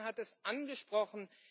Herr Bullmann hat es angesprochen.